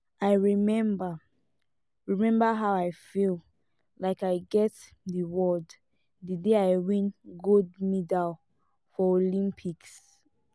i remember remember how i feel like i get the world the day i win gold medal for olympics